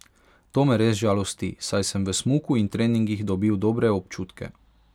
To me res žalosti, saj sem v smuku in treningih dobil dobre občutke.